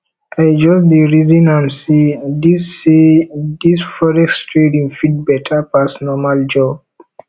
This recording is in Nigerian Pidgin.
i just dey reason am sey dis sey dis forex trading fit beta pass normal job